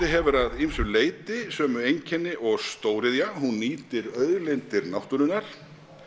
hefur að ýmsu leyti sömu einkenni og stóriðja hún nýtir auðlindir náttúrunnar